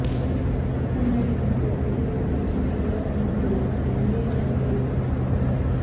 నూతన్ నాయుడు ఇంట్లో ఓ దళిత యువకుడికి ఘోర అవమానం జరిగిందంటూ మీడియాలో వార్తలు వస్తున్నాయి